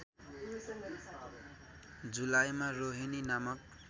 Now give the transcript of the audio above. जुलाईमा रोहिणी नामक